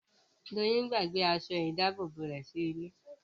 Doyin gbàgbé aṣọ ìdábòbò rẹ̀ sí ilé